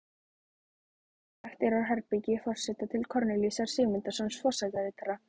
Innangengt er úr herbergi forseta til Kornelíusar Sigmundssonar forsetaritara.